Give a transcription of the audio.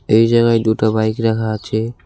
এই জায়গায় দুটো বাইক রাখা আছে।